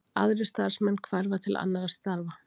Aðrir starfsmenn hverfa til annarra starfa